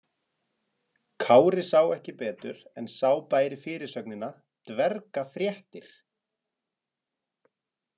Kári sá ekki betur en sá bæri fyrirsögnina: Dverga- fréttir.